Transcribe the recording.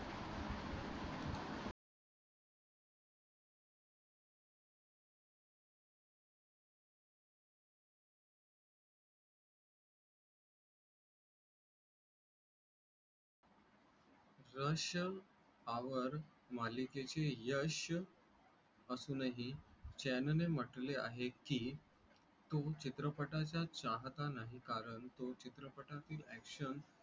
rush our मालिकेचे यश असून ही चैन ने म्हटले आहे की तो चित्रपटा चा चाहता नाही. कारण तो चित्रपटा तील action